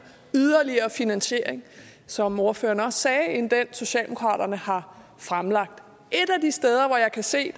yderligere finansiering som ordføreren også sagde end den socialdemokraterne har fremlagt et af de steder hvor jeg kan se